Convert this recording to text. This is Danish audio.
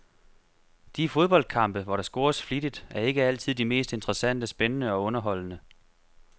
De fodboldkampe, hvor der scores flittigt, er ikke altid de mest interessante, spændende og underholdende.